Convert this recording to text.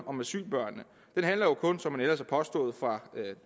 om asylbørn som man ellers har påstået fra